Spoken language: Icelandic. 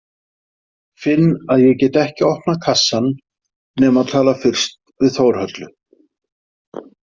Finn að ég get ekki opnað kassann nema tala fyrst við Þórhöllu.